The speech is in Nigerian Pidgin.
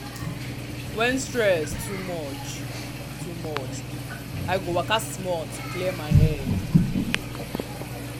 when stress too much too much i go waka small to clear my head.